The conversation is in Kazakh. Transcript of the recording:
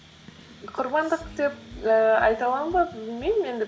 құрбандық деп ііі айта аламын ба білмеймін енді